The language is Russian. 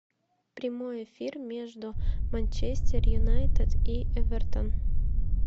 прямой эфир между манчестер юнайтед и эвертон